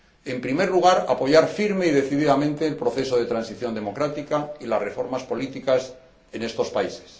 En primer lugar, apoyar firme y decididamente el proceso de transición democrática y las reformas políticas en estos países.